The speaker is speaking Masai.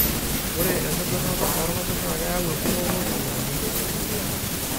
ore enkidurata oorpapit naa keyau enkuroto te lukunya